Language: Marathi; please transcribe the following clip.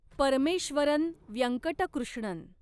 परमेश्वरन व्यंकट कृष्णन